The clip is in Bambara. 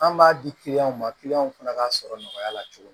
An b'a di ma fana ka sɔrɔ nɔgɔya la cogo min